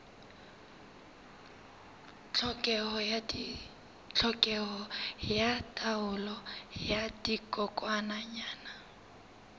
tlhokeho ya taolo ya dikokwanyana